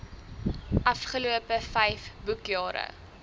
afgelope vyf boekjare